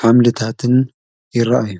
ኃምልታትን ይረአ እዩ።